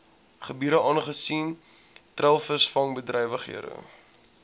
gebiede aangesien treilvisvangbedrywighede